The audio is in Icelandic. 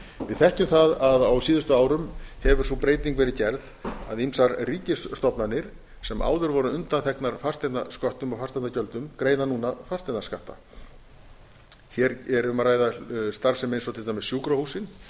við þekkjum það að á síðustu árum hefur sú breyting verið gerð að ýmsar ríkisstofnanir sem áður voru undanþegnar fasteignasköttum og fasteignagjöldum greiða núna fasteignaskatta hér er um að ræða starfsemi eins og til dæmis sjúkrahúsin